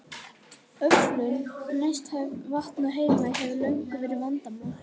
Öflun neysluhæfs vatns á Heimaey hefur löngum verið vandamál.